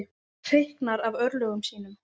Hreyknar af örlögum sínum.